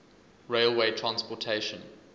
railway transportation